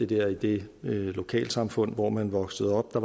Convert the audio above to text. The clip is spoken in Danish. der i det lokalsamfund hvor man voksede op